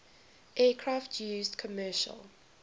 aircraft used commercial